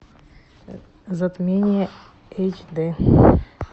затмение эйч дэ